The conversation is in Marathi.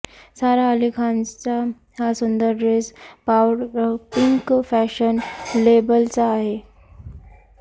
सारा अली खानचा हा सुंदर ड्रेस पावडरपिंक फॅशन लेबलचा आहे